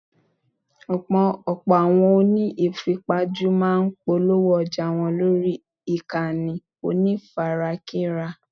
Ọ̀pọ̀ àwọn oní ìfipajú máa ń polówó ọjà wọn lórí ìkànnì onífarakínra.